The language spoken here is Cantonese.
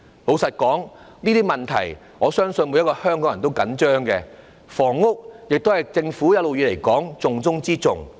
老實說，我相信每個香港人也着緊這些問題，而房屋問題一直是政府的重中之重。